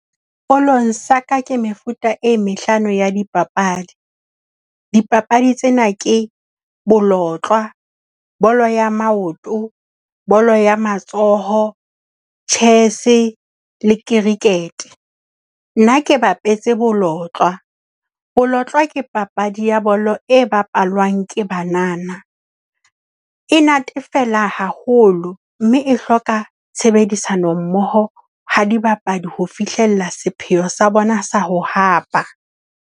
Sekolong sa ka ke mefuta e mehlano ya dipapadi. Dipapadi tsena ke bolotlwa , bolo ya maoto, bolo ya matsoho, chess le cricket. Nna ke bapetse bolotlwa. Bolotlwa ke papadi ya bolo e bapalwang ke banana. E natefela haholo, mme e hloka tshebedisano mmoho ha dibapadi ho fihlella sepheo sa bona sa ho hapa.